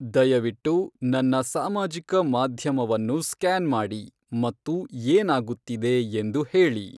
ದಯವಿಟ್ಟು ನನ್ನ ಸಾಮಾಜಿಕ ಮಾಧ್ಯಮವನ್ನು ಸ್ಕ್ಯಾನ್ ಮಾಡಿ ಮತ್ತು ಏನಾಗುತ್ತಿದೆ ಎಂದು ಹೇಳಿ